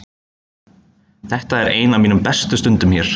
Þetta er ein af mínum bestu stundum hér.